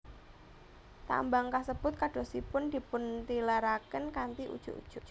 Tambang kasebut kadosipun dipuntilaraken kanthi ujug ujug